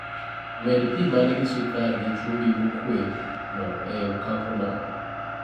Med pi manigi sukar gi chumbi mokue no e okapu no